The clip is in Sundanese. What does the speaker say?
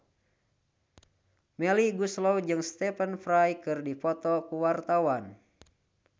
Melly Goeslaw jeung Stephen Fry keur dipoto ku wartawan